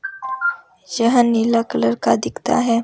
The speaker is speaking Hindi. जह नीला कलर का दिखता है।